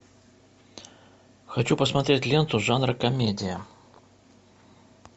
хочу посмотреть ленту жанра комедия